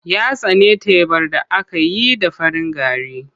Ya tsani tebar da aka yi da farin gari.